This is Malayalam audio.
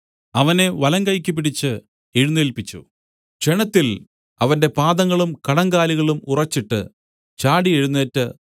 അവനെ വലങ്കൈയ്ക്ക് പിടിച്ച് എഴുന്നേല്പിച്ചു ക്ഷണത്തിൽ അവന്റെ പാദങ്ങളും കണങ്കാലുകളും ഉറച്ചിട്ട് ചാടി എഴുന്നേറ്റ്